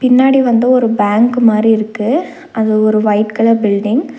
பின்னாடி வந்து ஒரு பேங்க் மாரி இருக்கு. அது ஒரு வையிட் கலர் பில்டிங் .